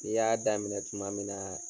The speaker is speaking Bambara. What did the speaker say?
I y'a daminɛ tuma min naaa.